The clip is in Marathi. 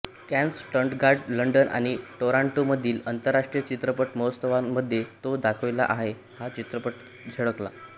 कॅन्स स्टटगार्ट लंडन आणि टोरोंटो मधील आंतरराष्ट्रीय चित्रपट महोत्सवांमध्ये तो दाखविला हा चित्रपट झळकला